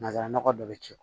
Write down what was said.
Nanzara nɔgɔ dɔ bɛ ci